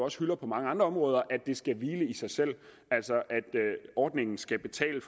også hylder på mange andre områder at det skal hvile i sig selv altså at ordningen skal betale